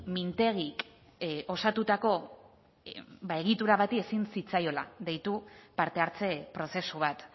mintegik osatutako egitura bati ezin zitzaiola deitu parte hartze prozesu bat